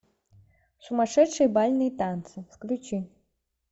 сумасшедшие бальные танцы включи